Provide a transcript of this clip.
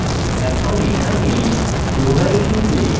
এখন এখানে dowhile loop